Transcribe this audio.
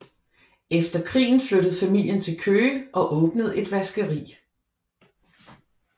Efter krigen flyttede familien til Køge og åbnede et vaskeri